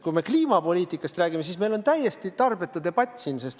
Kui me kliimapoliitikast räägime, siis see on meil täiesti tarbetu debatt.